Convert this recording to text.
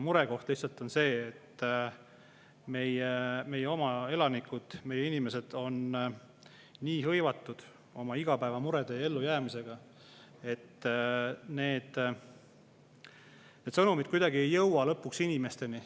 Murekoht lihtsalt on see, et meie oma elanikud, meie inimesed on nii hõivatud oma igapäevamurede ja ellujäämisega, et need sõnumid ei jõua lõpuks inimesteni.